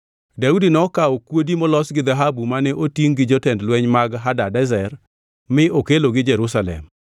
Daudi nokawo kuodi molos gi dhahabu mane otingʼ gi jotend lweny mag Hadadezer mi okelogi Jerusalem.